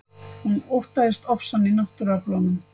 Hún óttaðist ofsann í náttúruöflunum.